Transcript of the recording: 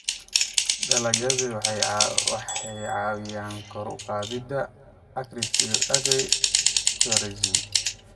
Dalagyadu waxay caawiyaan kor u qaadida agritourism.